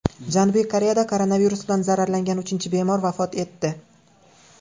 Janubiy Koreyada koronavirus bilan zararlangan uchinchi bemor vafot etdi.